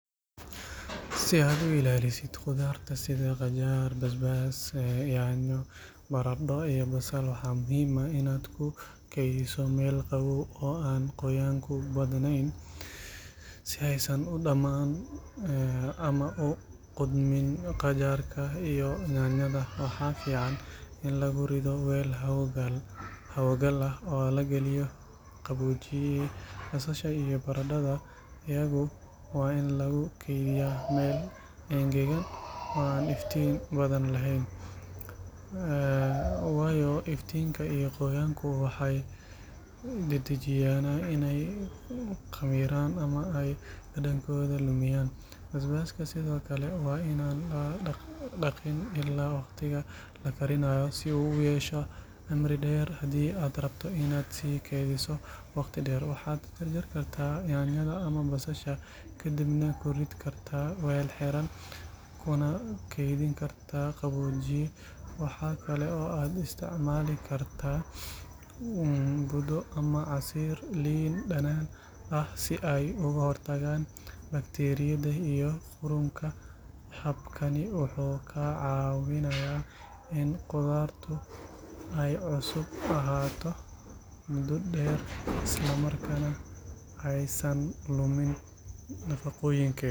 Si aad u ilaaliso khudaarta sida qajaar basbaas yaanyo baradho iyo basal waxaa muhiim ah inaad ku keydiso meel qabow oo aan qoyaanku badnayn si aysan u dhammaan ama u qudhmin qajaarka iyo yaanyada waxaa fiican in lagu rido weel hawo gal ah oo la galiyo qaboojiye basasha iyo baradhada iyagu waa in lagu kaydiyaa meel engegan oo aan iftiin badan lahayn waayo iftiinka iyo qoyaanku waxay dedejiyaan inay khamiiraan ama ay dhadhankooda lumiyaan basbaaska sidoo kale waa in aan la dhaqiin ilaa waqtiga la karinayo si uu u yeesho cimri dheer hadii aad rabto inaad sii keydiso waqti dheer waxaad jarjari kartaa yaanyada ama basasha kadibna ku rid kartaa weel xiran kuna keydin kartaa qaboojiye waxa kale oo aad isticmaali kartaa budo ama casiir liin dhanaan ah si ay uga hortagaan bakteeriyada iyo qudhunka habkani wuxuu kaa caawinayaa in khudaartu ay cusub ahaato muddo dheer isla markaana aysan lumin nafaqooyinkeeda.